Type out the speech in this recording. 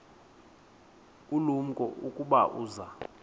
ulumko ukuba uza